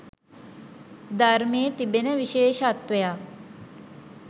ධර්මයේ තිබෙන විශේෂත්වයක්..